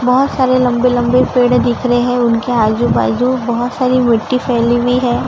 बहोत सारे लंबे-लंबे पेड़ दिख रहे हैं। उनके आजू-बाजू बहोत सारी मिट्टी फैली हुई है।